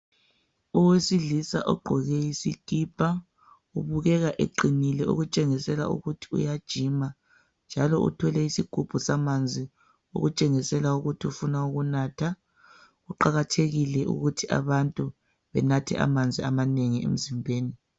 owesilisa ogqoke isikipa ubukeka eqinile okutshengisela ukuthi uyajima njalo uthwele sigubhu samanzi okutshengisela ukuthi ufuna ukunatha kuqakathekile ukuthi abantu benathe amanzi amanengi emzimbeni